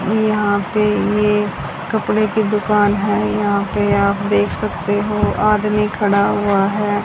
यहां पे ये कपड़े की दुकान है। यहां पे आप देख सकते हो आदमी खड़ा हुआ है।